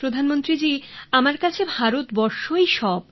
প্রধানমন্ত্রী জি আমার কাছে ভারতবর্ষই সব